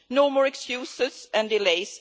No more excuses and delays.